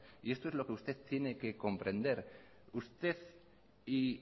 y esto es lo que usted tiene que comprender usted y